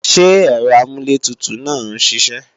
Ṣé ẹ̀rọ amúlẹ̀tutù náà ń siṣẹ́